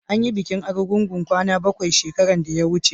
an yi bikin argungu kwana bakwai shekaran da ya wuce